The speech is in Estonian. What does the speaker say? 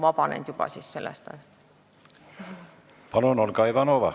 Palun, Olga Ivanova!